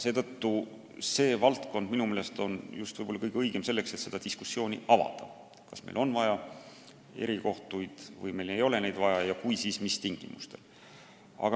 Seetõttu sellest valdkonnast võiks minu meelest alustada, kui me avame diskussiooni selle üle, kas meil on vaja erikohtuid või meil ei ole neid vaja ja kui on, siis mis tingimustel.